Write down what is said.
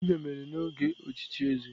Dibia mere n'oge ochichi eze.